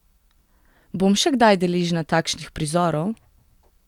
Bom še kdaj deležna takšnih prizorov?